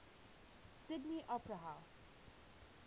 sydney opera house